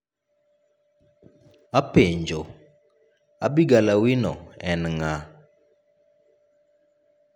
Apenjo, Abigail Awino en ng'a?